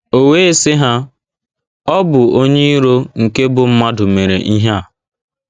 O wee sị ha, ‘ Ọ bụ onye iro nke bụ́ mmadụ mere ihe a. ’